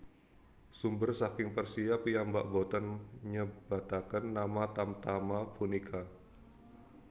Sumber saking Persia piyambak boten nyebataken nama tamtama punika